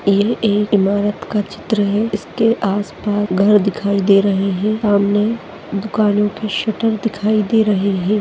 इल एक इमारत का चित्र है इसके आस पास घर दिखाई दे रहे है और सामने दुकानों की शटर दिखाई दे रहे है।